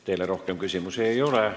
Teile rohkem küsimusi ei ole.